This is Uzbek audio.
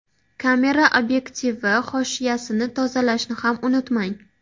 Kamera obyektivi, hoshiyasini tozalashni ham unutmang.